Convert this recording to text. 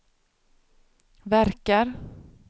verkar